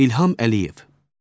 İlham Əliyev.